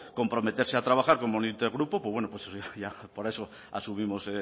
comprometerse a trabaja como un intergrupo pues bueno para eso asumimos